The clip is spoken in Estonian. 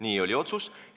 Selline oli otsus.